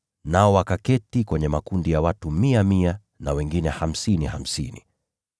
nao wakaketi kwenye makundi ya watu mia mia na wengine hamsini hamsini.